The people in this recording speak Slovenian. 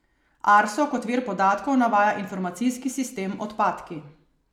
Arso kot vir podatkov navaja informacijski sistem Odpadki.